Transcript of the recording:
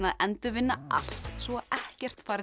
endurvinna allt svo ekkert fari til